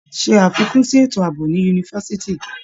Ṣe àfikún sí ètò àbò ní yunifásitì.